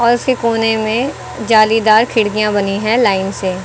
और उसके कोने में जालीदार खिड़कियां बनी है लाइन से।